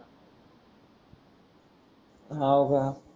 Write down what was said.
हव का